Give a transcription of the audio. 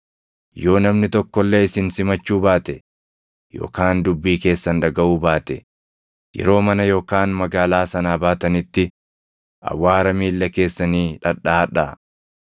Yoo namni tokko illee isin simachuu baate yookaan dubbii keessan dhagaʼuu baate, yeroo mana yookaan magaalaa sanaa baatanitti awwaara miilla keessanii dhadhaʼadhaa.